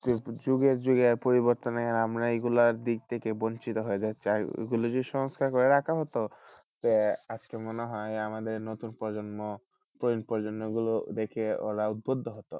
যুগে যুগে পরিবর্তনে আমরা এগুলার দিক থেকে বঞ্চিত হয়ে যাচ্ছি, এগুলো যদি সংস্কার করে রাখা হতো তো মনে হয় আমাদের নতুন প্রজন্ম নতুন প্রজন্ম গুলো দেখে ওরা উদ্বুদ্ধ হতো।